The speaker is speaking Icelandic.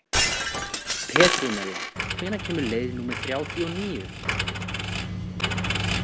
Petrúnella, hvenær kemur leið númer þrjátíu og níu?